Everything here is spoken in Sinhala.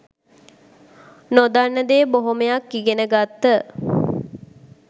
නොදන්න දේ බොහොමයක් ඉගෙන ගත්ත